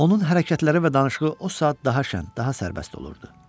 Onun hərəkətləri və danışığı o saat daha şən, daha sərbəst olurdu.